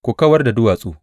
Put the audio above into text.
Ku kawar da duwatsu.